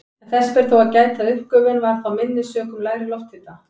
En þess ber þó að gæta að uppgufun var þá minni sökum lægri lofthita.